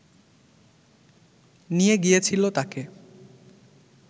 নিয়ে গিয়েছিল তাকে